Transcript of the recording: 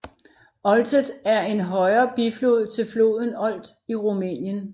Olteț er en højre biflod til floden Olt i Rumænien